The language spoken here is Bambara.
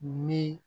Ni